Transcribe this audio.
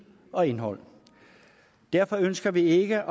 og indhold derfor ønsker vi ikke at